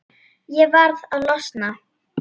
Ég varð að losna.